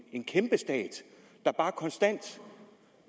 en kæmpestat der bare konstant